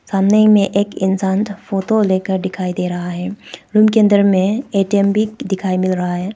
सामने में एक इंसान का फोटो लेकर दिखाई दे रहा है रूम के अंदर में ए_टी_एम भी दिखाई मिल रहा है।